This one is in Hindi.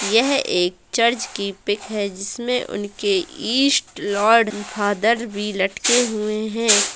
यह एक चर्च की पीक है जिसमें उनके ईस्ट लॉर्ड फादर भी लटके हुए है।